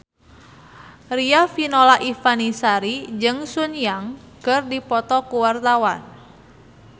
Riafinola Ifani Sari jeung Sun Yang keur dipoto ku wartawan